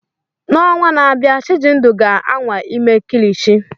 N'ọnwa na-abịa, Chijindu ga-anwa ime kilichi.